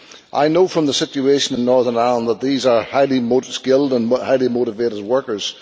I know from the situation in Northern Ireland that these are highly skilled and highly motivated workers.